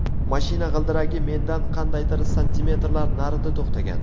Mashina g‘ildiragi mendan qandaydir santimetrlar narida to‘xtagan.